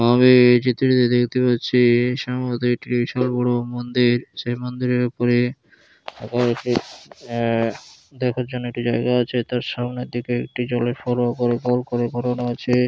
আমি-ই এই চিত্রটিতে দেখতে পাচ্ছি-ই সম্ভবত একটি বিশাল বড়ো মন্দির সেই মন্দিরের ওপরে অ্যা দেখার জন্য একটি জায়গা আছে তার সামনের দিকে একটি জলের ফরোয়া করে গোল করে ঘোরানো আছে ।